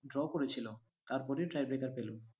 draw করেছিলো, তারপরেই tie breaker পেলো।